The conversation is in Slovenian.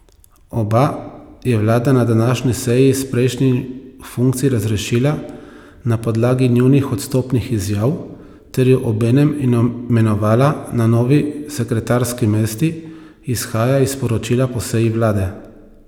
Oba je vlada na današnji seji s prejšnjih funkcij razrešila na podlagi njunih odstopnih izjav ter ju obenem imenovala na novi sekretarski mesti, izhaja iz sporočila po seji vlade.